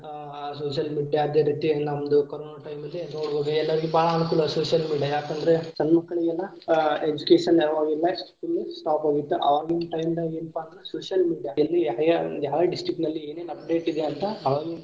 Social media ಅದೇ ರೀತಿ ನಮ್ಮದು ಕೊರೊನ time ಲ್ಲಿ ನೋಡ್ಬೋದು ಎಲ್ಲರಿಗು ಬಾಳ ಅನುಕೂಲ social media ಯಾಕಂದ್ರೆ ಸಣ್ಣ ಮಕ್ಕಳಿಗೆಲ್ಲಾ ಅಹ್ education ಇರಲಿಲ್ಲಾ ಅವಾಗೆಲ್ಲಾ school stop ಆಗಿತ್ತು ಆವಾಗಿನ time ದಾಗ ಏನಪಾ ಅಂದ್ರ social media ಎಲ್ಲಿ ಯಾವ district ನಲ್ಲಿ ಏನೇನ್ update ಇದೆ ಅಂತ ಆವಾಗಿನ.